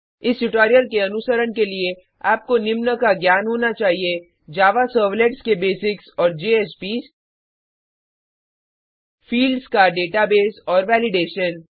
इस ट्यूटोरियल के अनुसरण के लिए आपको निम्न का ज्ञान होना चाहिए जावा सर्वलेट्स के बेसिक्स और जेएसपीएस फ़ील्ड्स का डेटाबेस और वेलिडेशन